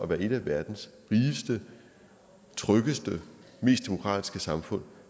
være et af verdens rigeste tryggeste mest demokratiske samfund